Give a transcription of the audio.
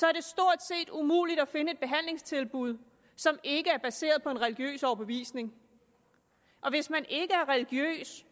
er det stort set umuligt at finde et behandlingstilbud som ikke er baseret på en religiøs overbevisning og hvis man ikke er religiøs